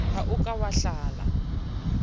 ha o ka wa hlala